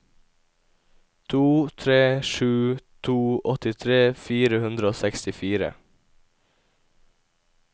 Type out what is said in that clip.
to tre sju to åttitre fire hundre og sekstifire